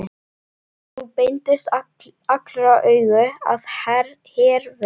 Nú beindust allra augu að Hervöru.